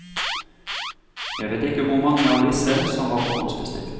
Jeg vet ikke hvor mange av disse som var forhåndsbestilt.